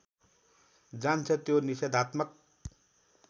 जान्छ त्यो निषेधात्मक